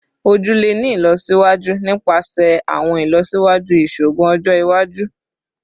Oju le ni ilọsiwaju nipasẹ awọn ilọsiwaju iṣoogun ọjọ iwaju